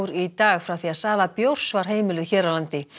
í dag frá því sala bjórs var heimiluð hér á landi